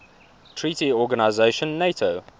treaty organisation nato